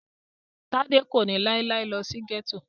Tádé kò ní láíláí lọ sí gẹ́tò